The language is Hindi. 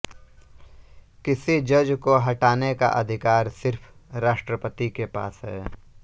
किसी जज को हटाने का अधिकार सिर्फ़ राष्ट्रपति के पास है